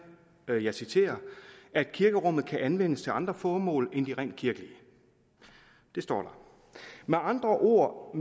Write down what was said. og jeg citerer at kirkerummet kan anvendes til andre formål end de rent kirkelige det står der med andre ord